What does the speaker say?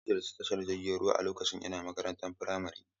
Na ziyarci tashar jirgin ruwa lokacin ina makarantar firamare..